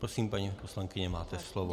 Prosím, paní poslankyně, máte slovo.